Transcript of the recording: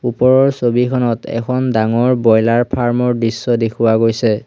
ওপৰৰ ছবিখনত এখন ডাঙৰ ব্ৰইলাৰ ফাৰ্ম ৰ দৃশ্য দেখুওৱা গৈছে।